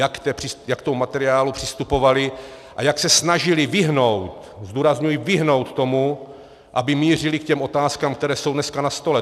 Jak k tomu materiálu přistupovaly a jak se snažily vyhnout - zdůrazňuji vyhnout - tomu, aby mířily k těm otázkám, které jsou dneska na stole.